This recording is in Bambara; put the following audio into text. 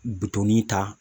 ta